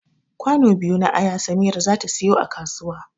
Kwano biyu na aya samira zata siyo a kasuwa